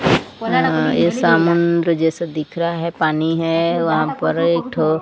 अं ये समुद्र जैसा दिख रहा है पानी है वहां पर एक ठो--